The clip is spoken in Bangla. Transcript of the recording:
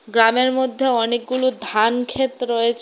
গ্রামের মধ্যে অনেকগুলো ধানক্ষেত রয়েছে।